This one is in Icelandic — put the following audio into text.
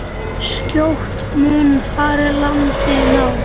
Skjótt mun farið landi ná.